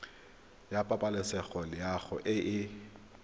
ya pabalesego loago e e